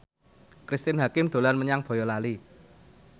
Cristine Hakim dolan menyang Boyolali